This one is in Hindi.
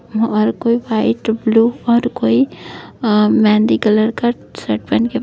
हमारा कोई व्हाइट ब्लू और कोई मेहंदी कलर का शर्ट पैंट के --